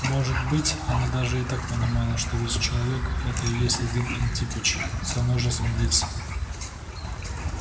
может быть она даже и так понимала что весь человек это и есть один антипыч со множеством лиц